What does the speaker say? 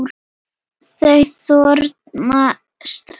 Þú þornar strax.